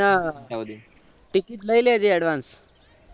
ને ticket લઇ લેજે advance